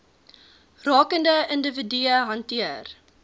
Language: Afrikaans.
rakende individue hanteer